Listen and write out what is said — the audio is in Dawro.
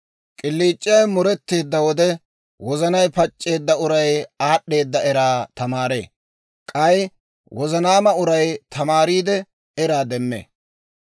K'iliic'iyaawe mureteedda wode, wozanay pac'c'eedda uray aad'd'eeda eraa tamaaree; k'ay wozanaama uray tamaariide, eraa demmee.